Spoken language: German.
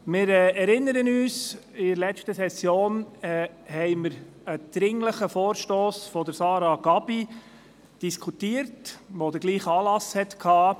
Wir erinnern uns, dass wir in der letzten Session einen dringlichen Vorstoss von Sarah Gabi ) diskutiert und überwiesen haben, welcher denselben Anlass hatte.